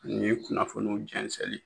Ni ye kunnafoniw jɛnsɛli ye